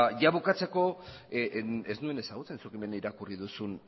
bukatzeko ez nuen ezagutzen zuk hemen irakurri duzun